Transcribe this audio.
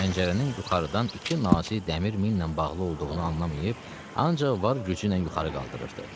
Çünki pəncərənin yuxarıdan iki nazik dəmir millə bağlı olduğunu anlamayıb, ancaq var gücüylə yuxarı qaldırırdı.